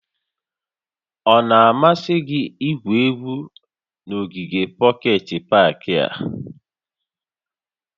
Ọ na-amasị gị igwu egwu n'ogige pọket pak a?